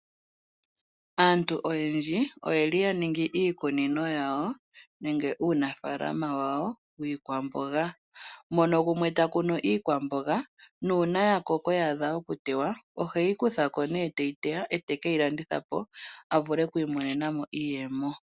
Aantu oyendji oye li ya ningi iikuninino yawo, nenge uunafaala wawo wiikwamboga, mono gumwe ta kunu iikwamboga, nuuna ya koko, ya adha oku tewa, ohe yi kutha ko ne te yi teya, e te ke yi landitha po, a vule oku imonena mo iiyemo.